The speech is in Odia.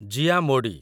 ଜିଆ ମୋଡି